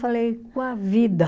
Falei, com a vida.